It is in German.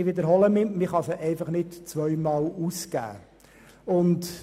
Ich wiederhole: Man kann das Geld nicht zweimal ausgeben.